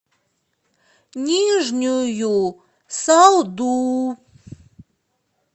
нижнюю салду